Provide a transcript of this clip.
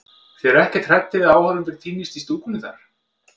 Þið eruð ekkert hræddir við að áhorfendur týnist í stúkunni þar?